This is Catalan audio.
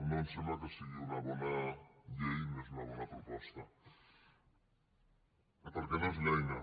no ens sembla que sigui una bona llei no és una bona proposta perquè no és l’eina